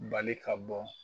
Bali ka bɔ